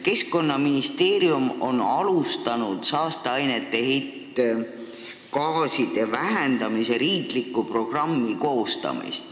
Keskkonnaministeerium on alustanud saasteainete heitgaaside vähendamise riikliku programmi koostamist.